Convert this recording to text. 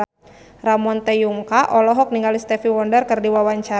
Ramon T. Yungka olohok ningali Stevie Wonder keur diwawancara